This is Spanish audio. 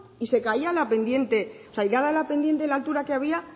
y se caía a la pendiente o sea ya de la pendiente la altura que había